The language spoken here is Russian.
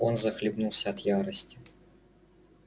он захлебнулся от ярости